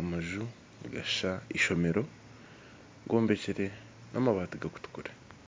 amaju nigashusha eishomero gombekire namabaati garikutukura.